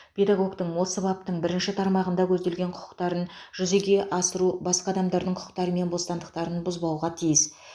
педагогтің осы баптың бірінші тармағында көзделген құқықтарын жүзеге асыру басқа адамдардың құқықтары мен бостандықтарын бұзбауға тиіс